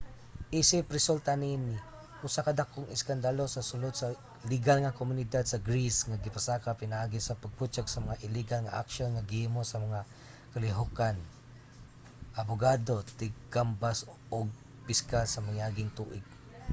isip resulta niini usa ka dakong iskandalo sa sulod sa ligal nga komunidad sa greece ang gipasaka pinaagi sa pagbutyag sa mga iligal nga aksyon nga gihimo sa mga kalihukan abogado tigkambas ug piskal sa mga miaging tuig